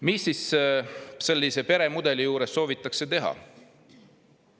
Mida sellise peremudeli puhul soovitakse teha?